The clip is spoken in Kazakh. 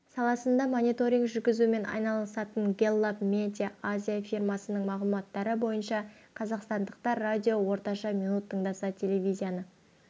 саласында мониторинг жүргізумен айналысатын гэллап медиа азия фирмасының мағлұматтары бойынша қазақстандықтар радионы орташа минут тыңдаса телевизияны